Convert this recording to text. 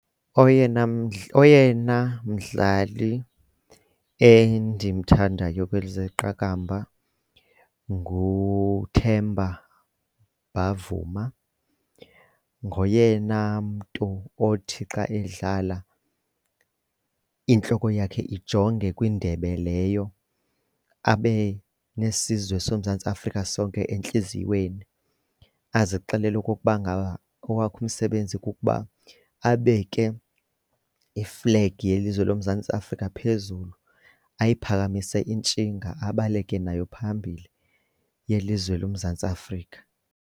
Oyena, oyena mdlali endimthandayo kwezeqakamba nguThemba Bavuma, ngoyena mntu othi xa edlala intloko yakhe ijonge kwindebe leyo abe nesizwe soMzantsi Afrika sonke entliziyweni, azixele okokuba ngaba owakhe umsebenzi kukuba abeke iflegi yelizwe loMzantsi Afrika phezulu ayiphakamise intshinga abaleke nayo phambili yelizwe loMzantsi Afrika.